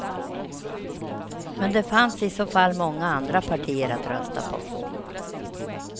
Men det fanns i så fall många andra partier att rösta på.